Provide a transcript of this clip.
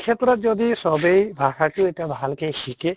ক্ষেত্ৰত যদি চবেই ভাষাটো এতিয়া ভালকৈ শিকে